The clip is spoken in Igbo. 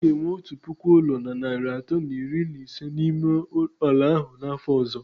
Ha ga-enwe otu puku ụlọ na narị atọ na iri na ise n'ime ala ahụ n'afọ ọzọ